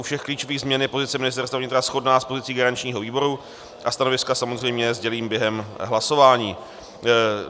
U všech klíčových změn je pozice Ministerstva vnitra shodná s pozicí garančního výboru a stanoviska samozřejmě sdělím během hlasování.